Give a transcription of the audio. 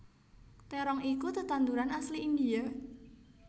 Terong iku tetanduran asli India